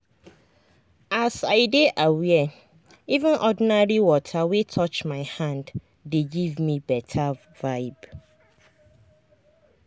as i dey aware even ordinary water wey touch my hand dey give me better vibe.